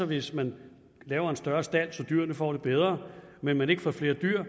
hvis man laver en større stald så dyrene får det bedre men ikke får flere dyr